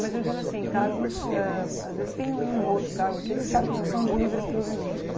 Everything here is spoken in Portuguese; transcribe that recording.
Mas eu digo assim, cargos, ãh às vezes tem um ou outro cargo, aqueles cargos que são de livre provimento.